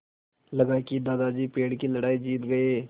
लगा कि दादाजी पेड़ की लड़ाई जीत गए